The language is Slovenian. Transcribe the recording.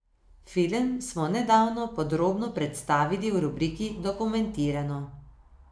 Film smo nedavno podrobno predstavili v rubriki Dokumentirano.